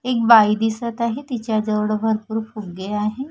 एक बाई दिसत आहे तिच्या जवळ भरपूर फुग्गे आहे.